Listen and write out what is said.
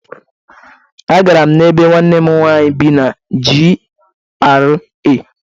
Agara m na béé nwanne m nwanyị bi na GRA.